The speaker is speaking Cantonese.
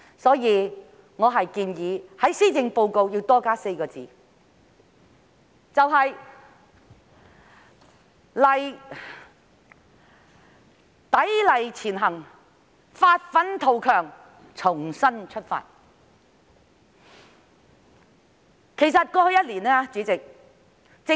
因此，我建議在施政報告的標題多加4個字，成為"砥礪前行，發奮圖強，重新出發"。